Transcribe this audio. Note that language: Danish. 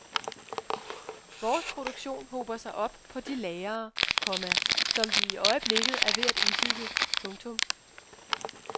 Vores produktion hober sig op på de lagrer, komma som vi i øjeblikket er ved at udbygge. punktum